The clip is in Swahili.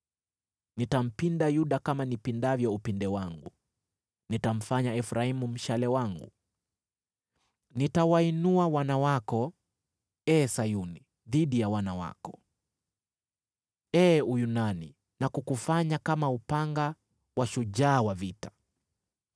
Nitampinda Yuda kama nipindavyo upinde wangu, nitamfanya Efraimu mshale wangu. Nitawainua wana wako, ee Sayuni, dhidi ya wana wako, ee Uyunani, na kukufanya kama upanga wa shujaa wa vita.